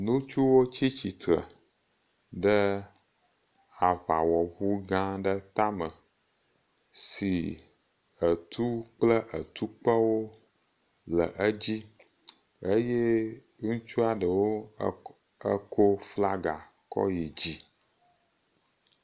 Ŋutsuwo tsi tsitre ɖe aŋawɔŋu gã aɖe tame si etu kple etukpewo le edzi eye ŋutsua ɖewo kɔ flaga kɔ yi dzi.